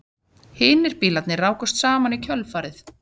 Hinir bílarnir rákust saman í kjölfarið